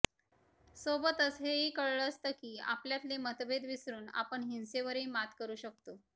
सोबतच हेही कळालं असतं की आपल्यातले मतभेद विसरून आपण हिंसेवरही मात करू शकतो